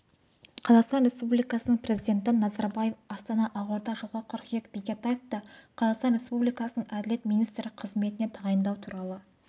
қазақстан республикасының президенті назарбаев астана ақорда жылғы қыркүйек бекетаевты қазақстан республикасының әділет министрі қызметіне тағайындау туралы